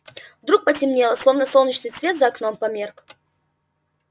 вдруг потемнело словно солнечный свет за окном померк